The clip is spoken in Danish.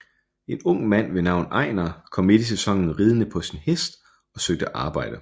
En ung mand ved navn Ejnar kom midt i sæsonen ridende på sin hest og søgte arbejde